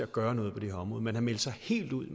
gøre noget på det her område man har meldt sig helt ud